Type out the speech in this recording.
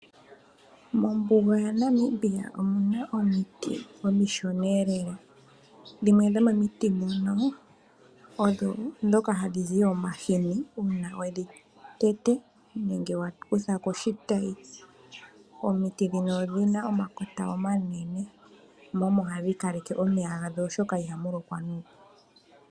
Mombuga yaNamibia omu na omiti omishona lela. Dhimwe dhomomiti muno odho ndhoka hadhi zi omahini uuna we dhi tete nenge wa kutha ko oshitayi. Omiti ndhino odhi na omakota manene mo omo hadhi kaleke omeya gadho, oshoka ihamu lokwa nuupu.